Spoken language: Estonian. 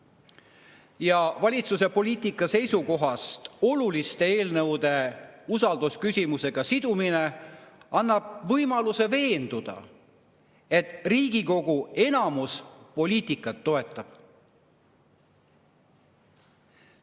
Ja valitsuse poliitika seisukohast oluliste eelnõude usaldusküsimusega sidumine annab võimaluse veenduda, et Riigikogu enamus poliitikat toetab.